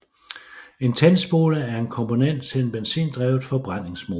En tændspole er en komponent til en benzindrevet forbrændingsmotor